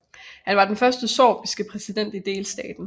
Han var den første sorbiske præsident i delstaten